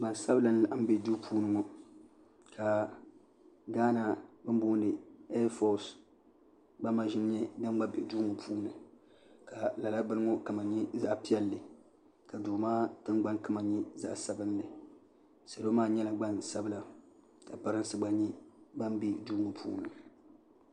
gbansabila n laɣam bɛ duu ŋo puuni ka gaana bin booni ɛɛfos gba maʒini bɛ duu ŋo puuni ka lala bini ŋo kama nyɛ zaɣ piɛlli ka duu maa tingbani kama nyɛla zaɣ sabinli salo maa nyɛla gbansabila ka pirinsi gba nyɛ ban bɛ duu ŋo puuni